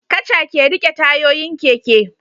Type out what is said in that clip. Kaca ke rike tayoyin keke